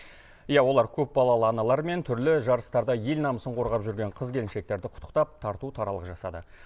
иә олар көп балалы аналар мен түрлі жарыстарда ел намысын қорғап жүрген қыз келіншектерді құттықтап тарту таралғы жасады